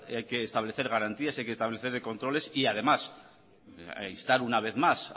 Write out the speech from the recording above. hay que establecer garantías hay que establecer controles y además instar una vez más